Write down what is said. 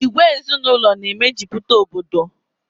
Ìgwè ezinaụlọ na e mejupụta Obodo